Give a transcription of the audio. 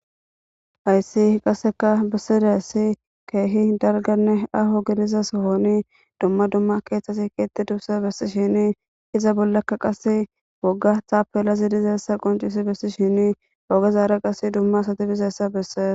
Hayssi qasseka bissiday ssi keehi dalganne aho gidiza sohoni dumma dumma keeththasi keetti dubse bessi shini iza bollakka qase wogga taapelazi dizeessa qoncisi bessi shini ogezaare qas dumma sati bizeyssa bessees.